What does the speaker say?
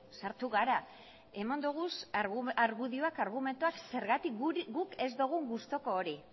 sartu gara eman ditugu argudioa argumentuak zergatik guk ez dugu gustoko hori